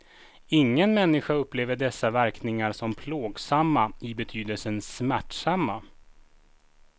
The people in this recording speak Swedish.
Ingen människa upplever dessa verkningar som plågsamma i betydelsen smärtsamma.